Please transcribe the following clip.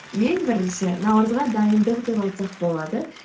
ең бірінші наурызға дайындық деп айтсақ болады